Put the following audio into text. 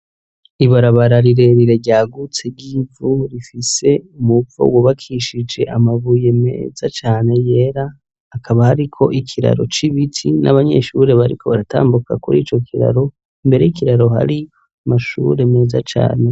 Ibarabara rirerire ryagutse ryivu rifise umuvo wubakishije amabuye meza cane yera hakaba hariko ikiraro c'ibiti n'abanyeshure bariko baratambuka kurico kiraro, imbere y'ikiraro hari amashure meza cane.